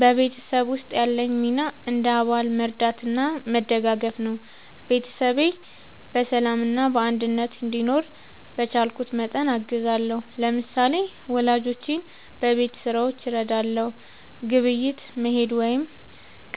በቤተሰብ ውስጥ ያለኝ ሚና እንደ አባል መርዳትና መደጋገፍ ነው። ቤተሰቤ በሰላምና በአንድነት እንዲኖር በቻልኩት መጠን አግዛለሁ። ለምሳሌ፣ ወላጆቼን በቤት ሥራዎች እረዳለሁ፣ ግብይት መሄድ ወይም